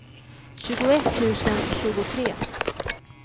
tjugoett tusen tjugotre